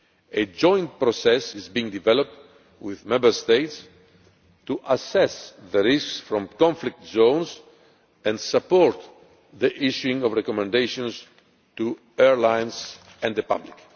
A joint process is being developed with Member States to assess the risks from conflict zones and support the issuing of recommendations to airlines and the public.